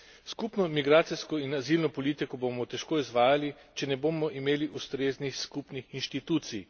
Skupno migracijsko in azilno politiko bomo težko izvajali, če ne bomo imeli ustreznih skupnih inštitucij.